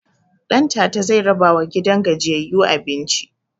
Ɗantata zai rabawa gidan gajiyayyu abinci